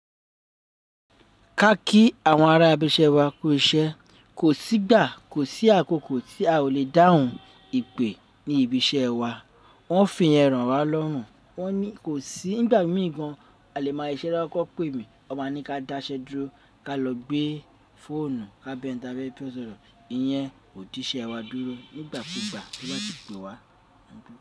Ka kí àwọn ará ibi iṣẹ́ wa kú iṣẹ́, kò sí ìgbà, kò sí àkókò tí a ò le dáhùn ìpè ní ibi iṣẹ́ wa. Wọ́n fì yẹn rọ̀ wa lọ́rùn. Wọ́n ní kò sí ní ìgbà mìí gan a lè máa ṣiṣẹ́ lọ́wọ́ kí wọ́n pè mí. Wọ́n máa ní ká dáṣẹ dúró, ká lọ gbé fóònù, ká bá eni ta fẹ́ bá sọ̀rọ̀. Iyẹn ò díṣẹ́ wa dúró nígbà kú gbà tí wọ́n bá ti pè wa.